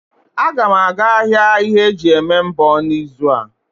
Agam aga ahia ihe eji eme mbọ n'izu a.